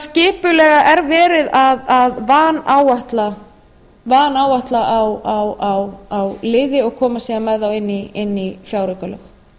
skipulega er verið að vanáætla á liði og koma síðan með þá inn í fjáraukalög